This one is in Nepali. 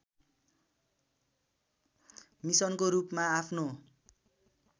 मिसनको रूपमा आफ्नो